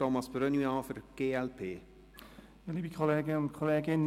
Thomas Brönnimann spricht für die glp.